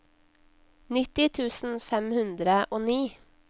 nitti tusen fem hundre og ni